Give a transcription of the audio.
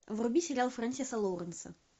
вруби сериал френсиса лоуренса